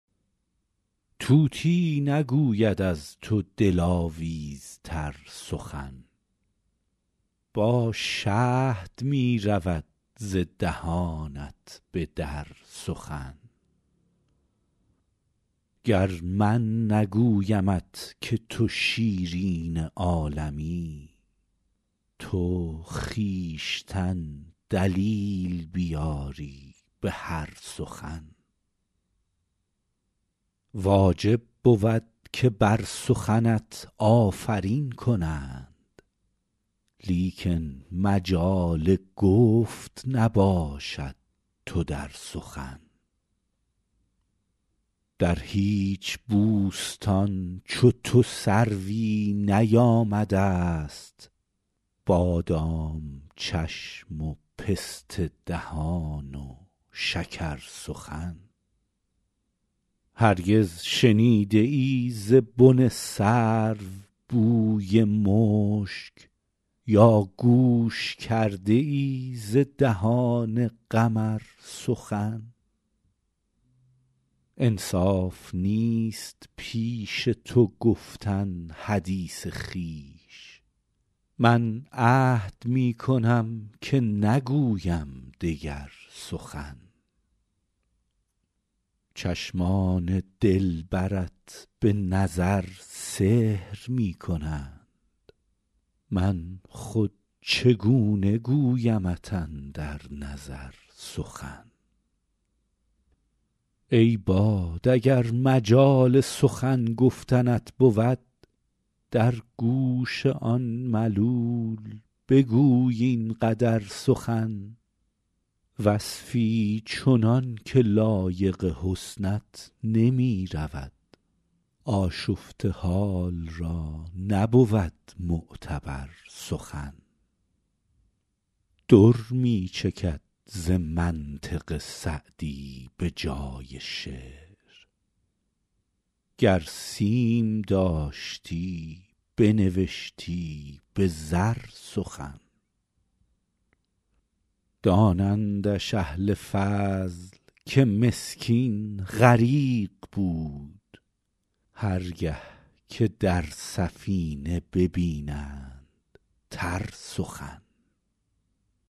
طوطی نگوید از تو دلاویزتر سخن با شهد می رود ز دهانت به در سخن گر من نگویمت که تو شیرین عالمی تو خویشتن دلیل بیاری به هر سخن واجب بود که بر سخنت آفرین کنند لیکن مجال گفت نباشد تو در سخن در هیچ بوستان چو تو سروی نیامده ست بادام چشم و پسته دهان و شکرسخن هرگز شنیده ای ز بن سرو بوی مشک یا گوش کرده ای ز دهان قمر سخن انصاف نیست پیش تو گفتن حدیث خویش من عهد می کنم که نگویم دگر سخن چشمان دلبرت به نظر سحر می کنند من خود چگونه گویمت اندر نظر سخن ای باد اگر مجال سخن گفتنت بود در گوش آن ملول بگوی این قدر سخن وصفی چنان که لایق حسنت نمی رود آشفته حال را نبود معتبر سخن در می چکد ز منطق سعدی به جای شعر گر سیم داشتی بنوشتی به زر سخن دانندش اهل فضل که مسکین غریق بود هر گه که در سفینه ببینند تر سخن